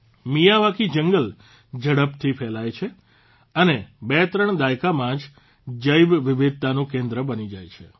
Miyawaki જંગલ ઝડપથી ફેલાય છે અને બે ત્રણ દાયકામાં જ જૈવ વિવિધતાનું કેન્દ્ર બની જાય છે